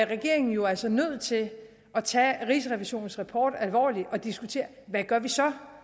regeringen jo altså nødt til at tage rigsrevisionens rapport alvorligt og diskutere hvad vi så